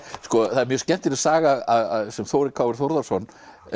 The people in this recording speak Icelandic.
það er mjög skemmtileg saga sem Þórir Þórðarson